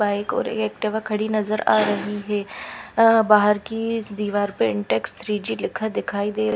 Bike और एक truck खड़ी नजर आ रही है अ बाहर कि इस दीवार पर इंटेक्स थ्री जी लिखा दिखाई दे रहा है।